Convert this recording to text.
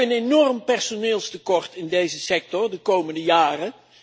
We hebben een enorm personeelstekort in deze sector de komende jaren.